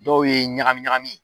Dɔw ye ɲagamiɲagami ye.